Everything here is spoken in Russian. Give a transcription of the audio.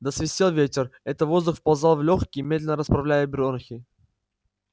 да свистел ветер это воздух вползал в лёгкие медленно расправляя бронхи